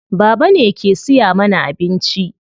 Baba ne ke siya mana abinci.